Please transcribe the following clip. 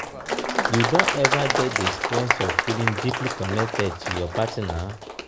you don ever get di experience of feeling deeply connected to your partner?